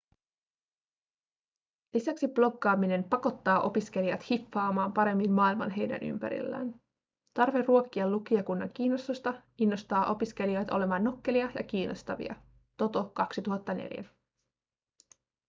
lisäksi bloggaaminen pakottaa opiskelijat hiffaamaan paremmin maailman heidän ympärillään". tarve ruokkia lukijakunnan kiinnostusta innostaa opiskelijoita olemaan nokkelia ja kiinnostavia toto 2004